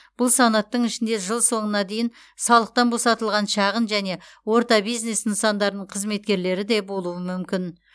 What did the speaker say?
бұл санаттың ішінде жыл соңына дейін салықтан босатылған шағын және орта бизнес нысандарының қызметкерлері де болуы мүмкін